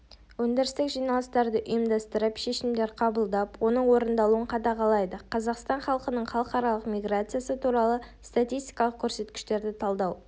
өндірістік жиналыстар ұйымдастырып шешімдер қабылдап оның орындалуын қадағалайды қазақстан халқының халықаралық миграциясы туралы статистикалық көрсеткіштерді талдау